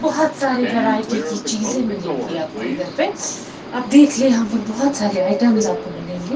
बहुत सारे वैरायटी की चीजें मिलेंगी आपको इधर पे आप देख ले यहां पर बहुत सारे आइटम्स आपको मिलेंगे।